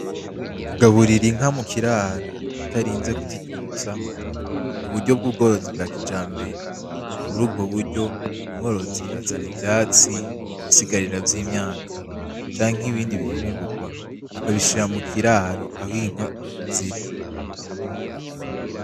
Kugaburira Inka mukiraro utarinze kuziturutsa n'uburyo bw' ubworozi bwa kijambere. Murubwo buryo ,umworozi azana ivyatsi ibisigarira vy'imyaka canke ibindi bifungurwa akabishira mukiraro ah' Inka ziri.